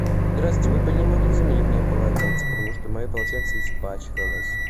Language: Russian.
здрасьте вы бы не могли заменить мне полотенце потому что мое полотенце испачкалось